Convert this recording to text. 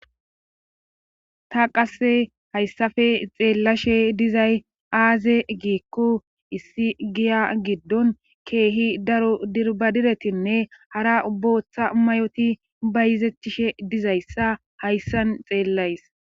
ta qasse hayssafe xeellashe dizay aaze giikku issi giya giddon keehi daro dirbadiretinne hara bbooththa mayoti bayizetchishe dizayssa hayssan xeellays